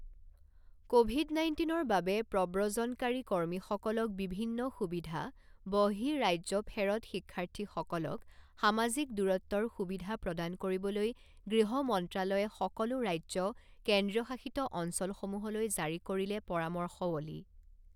Covid নাইণ্টিনৰ বাবে প্ৰব্ৰজনকাৰী কৰ্মীসকলক বিভিন্ন সুবিধা বহিঃ ৰাজ্যফেৰৎ শিক্ষাৰ্থীসকলক সামাজিক দুৰত্বৰ সুবিধা প্ৰদান কৰিবলৈ গৃহ মন্ত্ৰালয়ে সকলো ৰাজ্য কেন্দ্ৰীয়শাসিত অঞ্চলসমূহলৈ জাৰী কৰিলে পৰামৰ্শৱলী